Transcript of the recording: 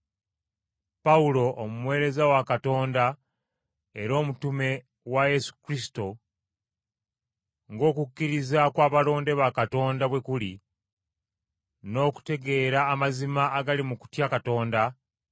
Pawulo omuweereza wa Katonda, era omutume wa Yesu Kristo ng’okukkiriza kw’abalonde ba Katonda bwe kuli n’okutegeera amazima agali mu kutya Katonda,